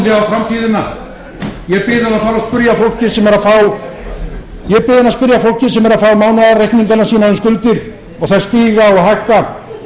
á framtíðina ég bið hann að spyrja fólkið sem er að fá mánaðarreikningana sína um skuldir og þær stíga og hækka